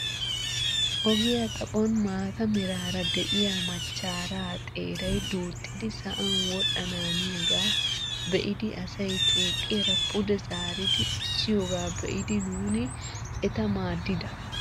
Ogiyaa xaphon maata meraara de'iyaa machcharaa xeray duuxxidi sa'an wodhananiyaaga be'idi asay tuuqiyaara pude zaaridi essiyoogaa be'idi nuuni eta maaddida.